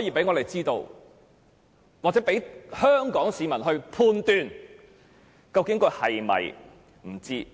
以讓我們知道或讓香港市民判斷究竟她是否不知道寓所有僭建物。